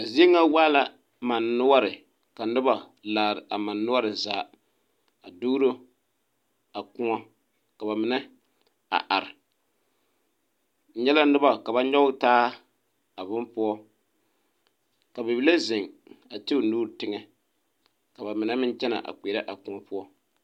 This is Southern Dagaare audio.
A zie ŋa waa la mane noɔre ka noba laare a mane noɔre zaa a duuro a koɔ ka ba mine a are n nyɛ la noba ka ba nyɔge taa a bone poɔ ka bibile zeŋ a ti o nuuri teŋɛ ka ba mine meŋ kyɛnɛ a kpeɛrɛ a koɔ poɔ.